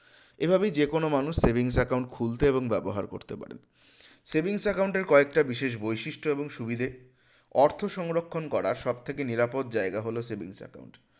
এভাবেই যেকোনো মানুষ savings account খুলতে এবং ব্যবহার করতে পারে savings account এর কয়েকটা বিশেষ বৈশিষ্ট এবং সুবিধে অর্থ সংরক্ষন করার সবথেকে নিরাপদ জায়গা হলো savings account